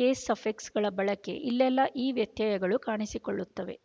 case ಸಫಿಕ್ಸ್ಗಳ ಬಳಕೆ ಇಲ್ಲೆಲ್ಲ ಈ ವ್ಯತ್ಯಯಗಳು ಕಾಣಿಸಿಕೊಳ್ಳುತ್ತವೆ